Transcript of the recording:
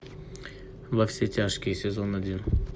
во все тяжкие сезон один